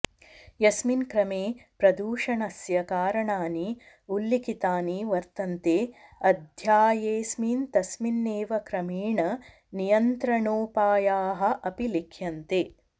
यस्मिन् क्रमे प्रदूषणस्य कारणानि उल्लिखितानि वर्तन्ते अध्यायेस्मिन् तस्मिन्नेव क्रमेण नियन्त्रणोपायाः अपि लिख्यन्ते